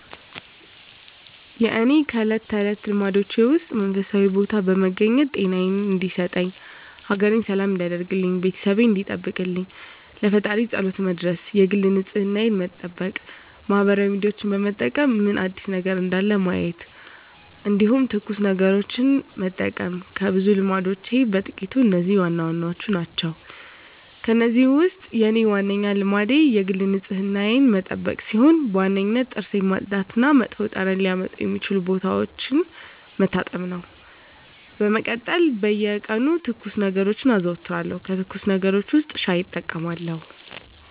የእኔ ከእለት ተለት ልማዶቼ ውስጥ መንፈሳዊ ቦታ በመገኘት ጤናየን እንዲሰጠኝ፣ ሀገሬን ሰላም እንዲያደርግልኝ፣ ቤተሰቤን እንዲጠብቅልኝ ለፈጣሪየ ፀሎት መድረስ የግል ንፅህናየን መጠበቅ ማህበራዊ ሚዲያዎችን በመጠቀም ምን አዲስ ነገር እንዳለ ማየት እንዲሁም ትኩስ ነገሮችን መጠቀም ከብዙ ልማዶቼ በጥቂቱ እነዚህ ዋናዎቹ ናቸው። ከእነዚህ ውስጥ የኔ ዋናው ልማዴ የግል ንፅህናዬን መጠበቅ ሲሆን በዋነኝነት ጥርሴን ማፅዳት እና መጥፎ ጠረን ሊያመጡ የሚችሉ ቦታዎችን መታጠብ ነው። በመቀጠል በየቀኑ ትኩስ ነገሮችን አዘወትራለሁ ከትኩስ ነገሮች ውስጥ ሻይ እጠቀማለሁ።